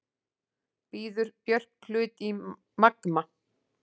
Býður Björk hlut í Magma